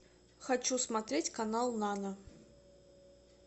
хочу смотреть канал нано